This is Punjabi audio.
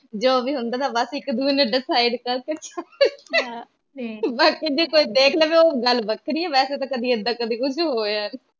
ਜੋ ਵੀ ਹੁੰਦਾ ਬਸ ਇਕ ਦੂਜੇ ਨੂੰ ਡਿਸਾਈਡ ਕਰਕੇ ਬਾਕੀ ਜੇ ਕੋਈ ਦੇਖ ਲਵੇ ਓ ਗੱਲ ਵੱਖਰੀ ਏ ਵੈਸੇ ਤਾਂ ਏਦਾਂ ਕਦੀ ਕੁਜ ਹੋਇਆ ਨੀ